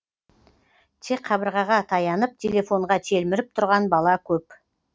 тек қабырғаға таянып телефонға телміріп тұрған бала көп